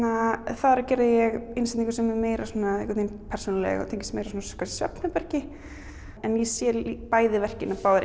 þar gerði ég innsetningu sem er meira persónuleg og tengist svefnherbergi en ég sé bæði verkin báðar